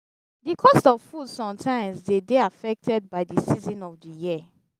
the cost of food sometimes dey de affected by di season of di year